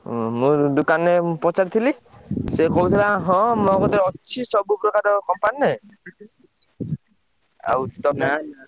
ଉଁ ମୁଁ ଦୋକାନରେ ପଚାରୁଥିଲି ସେ କହୁଥିଲା ହଁ ମୋ କତିରେ ଅଛି ସବୁ ପ୍ରକାର company ଆଉ ତମେ ।